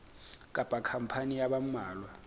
kapa khampani ya ba mmalwa